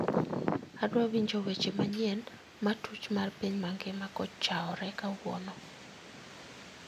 Adwa winjo weche manyien ma tuch mar piny mangima kochaore kawuono